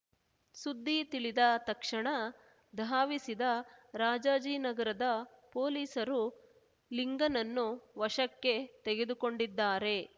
ಸುದ್ದಿ ತಿಳಿದ ತಕ್ಷಣ ಧಾವಿಸಿದ ರಾಜಾಜಿನಗರದ ಪೊಲೀಸರು ಲಿಂಗನನ್ನು ವಶಕ್ಕೆ ತೆಗೆದುಕೊಂಡಿದ್ದಾರೆ